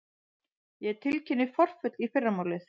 Ég tilkynni forföll í fyrramálið.